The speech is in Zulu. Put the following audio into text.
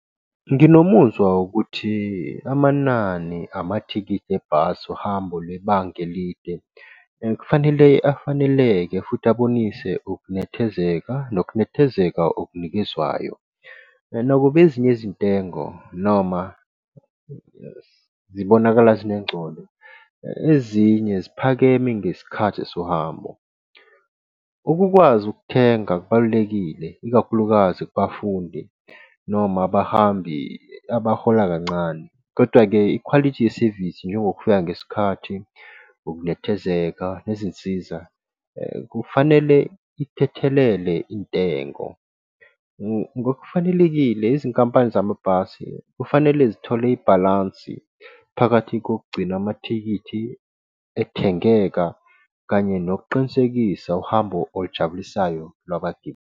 Nginomuzwa wokuthi amanani amathikithi ebhasi, uhambo lwebhanga elide. kufanele afaneleke futhi abonise ukunethezeka nokunethezeka okunikezwayo. Nakuba ezinye izintengo noma zibonakala zingengcono ezinye ziphakeme ngezikhathi sohambo. Ukukwazi ukuthenga kubalulekile, ikakhulukazi kubafundi noma abahambi abahola kancane. Kodwa-ke ikhwalithi yesevisi njengokufika ngesikhathi ukunethezeka nezinsiza. kufanele ithethelele intengo. Ngokufanelekile, izinkampani zamabhasi kufanele zithole ibhalansi phakathi kokugcina amathikithi ethengeka kanye nokuqinisekisa uhambo olujabulisayo lwabagibeli.